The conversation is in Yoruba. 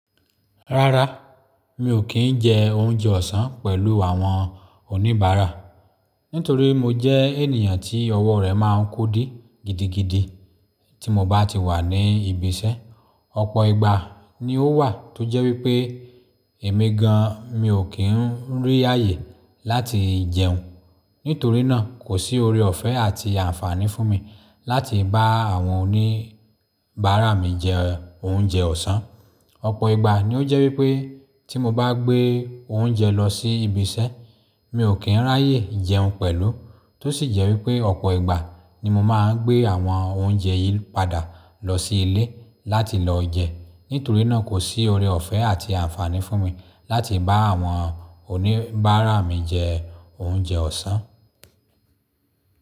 Rárá, mi ò kí ń jẹ oúnjẹ ọ̀sán pẹ̀lú àwọn oníbàárà nítorí mo jẹ́ ènìyàn tí ọwọ́ rẹ̀ máa ń kodí gidigidi tí mo bá ti wà ní ibi iṣẹ́. Ọ̀pọ̀ ìgbà ni ó wà tó jẹ́ wípé èmi gan mi ò kí ń rí ààyè láti jẹun. Nítorí náà, kò sí oore ọ̀fẹ́ àti àǹfààní fún mi láti bá àwọn oníbàárà mi jẹ oúnjẹ ọ̀sán. Ọ̀pọ̀ ìgbà ni ó jẹ́ wípé tí mo bá gbé oúnjẹ lọ sí ibi iṣẹ́, mi ò kí ń rí ààyè jẹun pẹ̀lú. Tó sì jẹ́ wípé Ọ̀pọ̀ ìgbà ni mo máa ń gbé àwọn oúnjẹ yìí padà lọ sí ilé láti lọ jẹ Nítorí náà kò sí oore ọ̀fẹ́ àti àǹfààní fún mi láti bá àwọn oníbàárà mi jẹ oúnjẹ ọ̀sán.